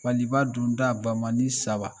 Maliba donda bamani saba